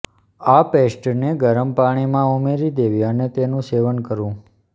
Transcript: આ પેસ્ટને ગરમ પાણીમાં ઉમેરી દેવી અને તેનુ સેવન કરવું